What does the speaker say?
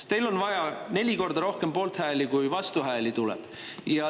Teil on vaja neli korda rohkem poolthääli kui vastuhääli.